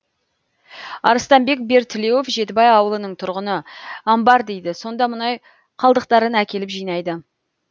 арыстанбек бертілеуов жетібай ауылының тұрғыны амбар дейді сонда мұнай қалдықтарын әкеліп жинайды